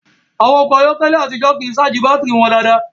Àwọn ọkọ̀ ayé àtijó kìí ṣáàjì bátìrì wọn dáadáa